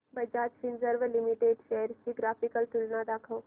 Bajaj Finserv limited shares ची graphical तुलना दाखव